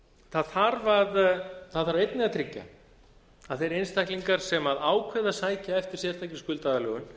það þarf einnig að tryggja að þeim einstaklingum sem ákveða að sækja eftir sérstakri skuldaaðlögun